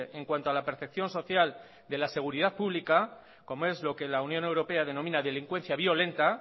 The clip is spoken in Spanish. en cuanto a la percepción social de la seguridad pública como es lo que la unión europea denomina delincuencia violenta